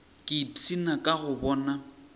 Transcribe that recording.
ke ipshina ka go boga